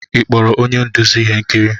Ị kpọrọ onye nduzi ihe nkiri?